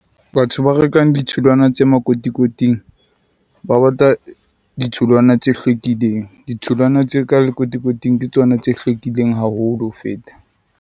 Batho ba rekang ditholwana tse makotikoting ba batla ditholwana tse hlwekileng. Ditholwana tse ka lekotikoting ke tsona tse hlwekileng haholo ho feta.